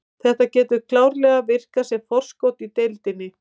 Þetta getur klárlega virkað sem forskot í deildinni.